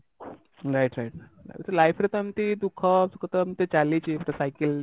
right right ଏମିତି life ରେ ତ ଏମିତି ଦୁଖ ସୁଖ ତ ଏମିତି ଚାଲିଛି ପୁରା cycle